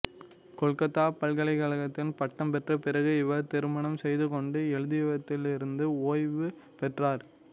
கொல்கத்தா பல்கலைக்கழகத்தில் பட்டம் பெற்ற பிறகு இவர் திருமணம் செய்துகொண்டு எழுதுவதிலிருந்து ஓய்வு பெற்றார்